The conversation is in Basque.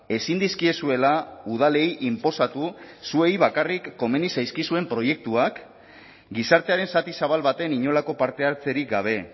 ezin dizkiezuela udalei inposatu zuei bakarrik komeni zaizkizuen proiektuak gizartearen zati zabal baten inolako parte hartzerik gabe